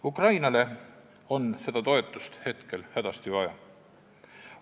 Ukrainale on seda toetust hetkel hädasti vaja.